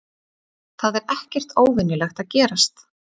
Það er ekkert óvenjulegt að gerast